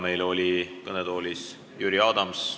Meil oli kõnetoolis Jüri Adams.